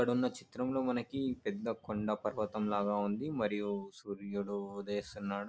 ఇక్కడున్న చిత్రం లో మనకి పెద్ద కొండ పర్వతం లాగా ఉంది మరియు సూర్యుడు ఉదయిస్తున్నాడు.